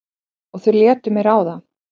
Og þau létu mig ráða.